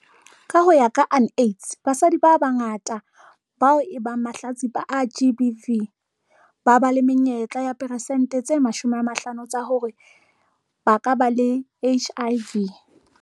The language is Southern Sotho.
Ka ho ya ka UNAIDS, basadi ba bangata bao e bang mahlatsipa a GBV, ba ba le menyetla ya persente tse 50 tsa hore ba ka ba le HIV.